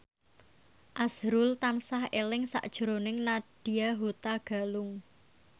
azrul tansah eling sakjroning Nadya Hutagalung